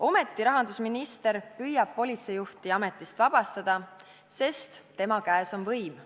Ometi püüab rahandusminister politseijuhti ametist vabastada, sest tema käes on võim.